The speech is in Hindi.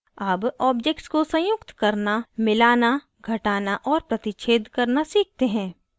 अब objects को संयुक्त करना मिलाना घटाना और प्रतिच्छेद करना सीखते हैं